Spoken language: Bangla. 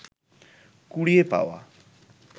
কুড়িয়ে পাওয়া